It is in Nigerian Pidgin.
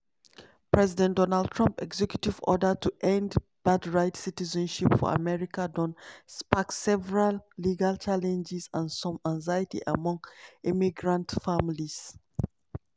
president donald trump executive order to end birthright citizenship for america don spark several legal challenges and some anxiety among immigrant families.